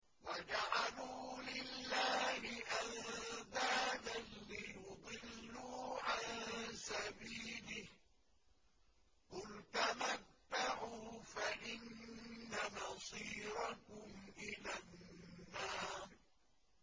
وَجَعَلُوا لِلَّهِ أَندَادًا لِّيُضِلُّوا عَن سَبِيلِهِ ۗ قُلْ تَمَتَّعُوا فَإِنَّ مَصِيرَكُمْ إِلَى النَّارِ